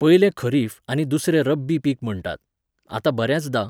पयले खरीफ आनी दुसरें रब्बी पीक म्हणटात. आतां बऱ्यांचदां